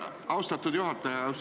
Austatud juhataja!